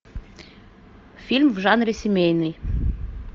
фильм в жанре семейный